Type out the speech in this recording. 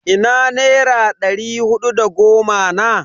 Ina nera ɗari hudu da goma na?